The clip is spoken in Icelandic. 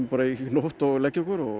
í nótt og leggja okkur